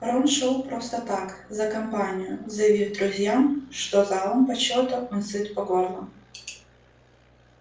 рон шёл просто так за компанию заявив друзьям что залом почёта он сыт по горло